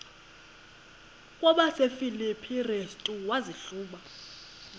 kwabasefilipi restu wazihluba